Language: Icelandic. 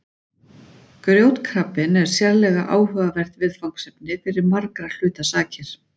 Grjótkrabbinn er sérlega áhugavert viðfangsefni fyrir margra hluta sakir.